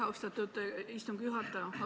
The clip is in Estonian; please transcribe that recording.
Austatud istungi juhataja!